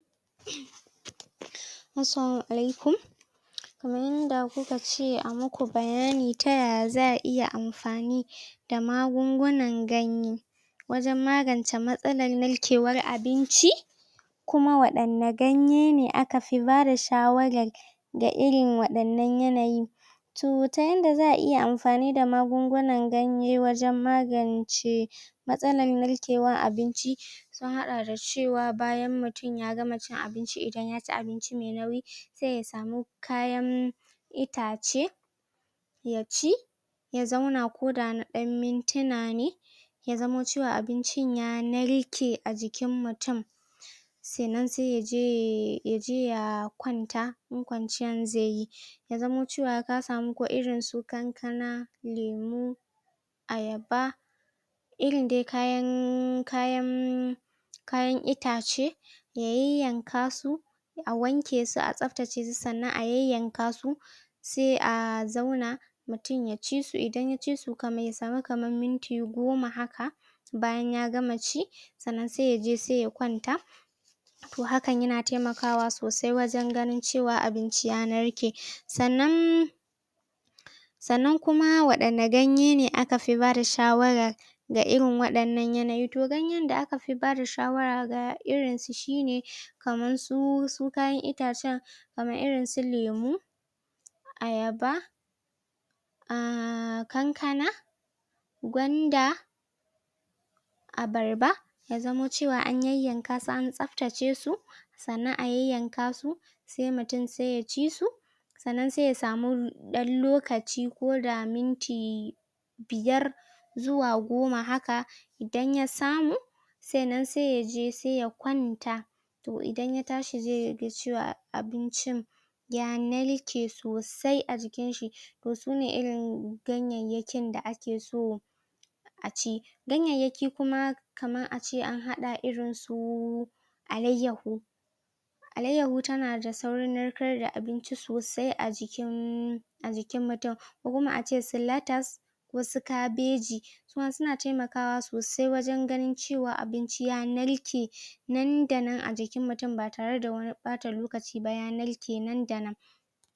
Assalamu alaikum kaman yanda kukace a muku bayani ta yaya za a iya amfani da magungunan ganye wanjan magance matsalan narkewan abinci kuma waɗanye ganye ne aka fi bada shawaran da irin waɗannan yanayi to yanda za a iya amfani da magungunan ganye wajan magance matsalan narkewan abinci an haɗa da cewa bayan mutun yagama cin abinci idan yaci abinci me nauyi se yasamu kayan itace yaci ya zauna koda na ɗan muntina ne yazamo cewa abinci ya narke ajikin mutun sannan se yaje ya kwanta in kwanciyan ze yi yazamo cewan kasamu irin kankana lemu ayaba irindai kayan kayan itace ya yayyankasu a wankesu a tsaftace su sannan a yayanka su se a zauna mutun yacisu idan yacisu kafin ya samu kaman miti goma haka bayan ya gama ci sannan se yaje se kwanta to hakan yana temakawa sosai wajan ganin cewa abinci ya narke sannan sannan kuma wani ganye ne akafi bada shawarar ga irin waɗannan yanayi to ganye da akafi bada shawara ga irin su shine kamar su kayan itacan kaman irinsu lemu ayaba um kankana gwanda abarba yazamo cewa an yan yan kasu an tsaftace su sannan a yayyankasu se mutun se ya cisu sannan se yasamu lokaci ko da minti biyar zuwa goma haka idan yasamu sannan se yaje se kwanta to idan yatashi ze yadda cewa abincin ya narke sosai ajikin to sune irin ganyayyakin da ake so aci ganyayyaki kuma har ace an haɗa irinsu alaiyahu alaiyahu tana saurin narka da abinci sosai ajiki ajikin mutun kokuma ace su letas ko su kabeji kuma suna temakawa sosai wajan ganin cewa abinci ya narke nan da nan ajikin mutun batare da wani ɓata lokaci ba ya narke nan da nan